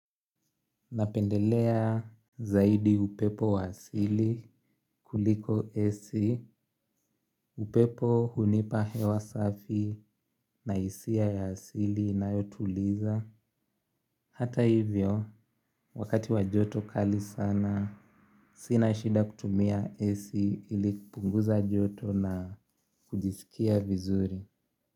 Napendelea zaidi upepo wa asili kuliko AC, upepo hunipa hewa safi na hisia ya asili inayotuliza. Hata hivyo, wakati wa joto kali sana, sina shida kutumia AC ili kupunguza joto na kujisikia vizuri.